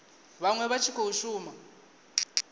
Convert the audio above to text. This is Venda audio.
vhaṅwe vha tshi khou shuma